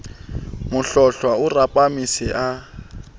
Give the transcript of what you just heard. mohlohlwa o rapame se a